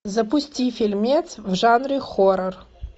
запусти фильмец в жанре хоррор